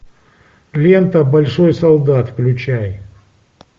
лента большой солдат включай